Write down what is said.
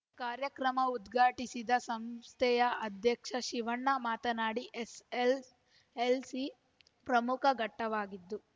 ಕಾರ್ಯಕ್ರಮ ಉದ್ಘಾಟಿಸಿದ ಸಂಸ್ಥೆಯ ಅಧ್ಯಕ್ಷ ಶಿವಣ್ಣ ಮಾತನಾಡಿ ಎಸ್ಎಸ್ಎಲ್ಸಿ ಪ್ರಮುಖ ಘಟ್ಟವಾಗಿತ್ತು